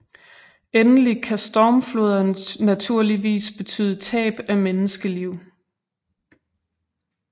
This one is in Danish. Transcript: Endelig kan stormfloder naturligvis betyde tab af menneskeliv